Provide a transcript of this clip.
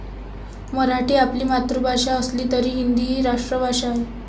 मराठी आपली मातृभाषा असली तरी हिंदी ही राष्ट्रभाषा आहे.